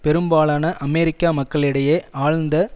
பெரும்பாலான அமெரிக்க மக்களிடையே ஆழ்ந்த